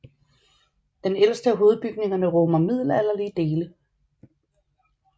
Den ældste af hovedbygningerne rummer middelalderlige dele